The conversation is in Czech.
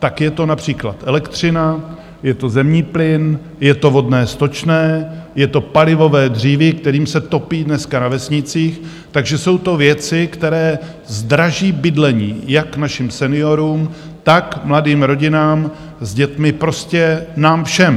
Tak je to například elektřina, je to zemní plyn, je to vodné, stočné, je to palivové dříví, kterým se topí dneska na vesnicích, takže jsou to věci, které zdraží bydlení jak našim seniorům, tak mladým rodinám s dětmi, prostě nám všem.